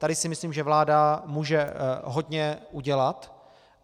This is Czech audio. Tady si myslím, že vláda může hodně udělat.